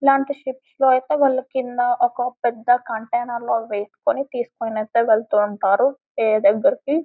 ఇలాంటి షిప్స్ లో అయితే వాళ్ళ కింద ఒక పెద్ద కంటైనర్లో వేసుకొని అయితే వెళ్తూ ఉంటారు వేరే దగరికి ..